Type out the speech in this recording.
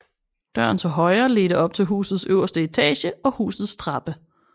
Døren til højre ledte op til husets øverste etage og husets trappe